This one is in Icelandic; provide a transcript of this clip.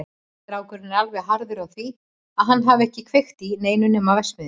Strákurinn er alveg harður á því að hann hafi ekki kveikt í neinu nema verksmiðjunni.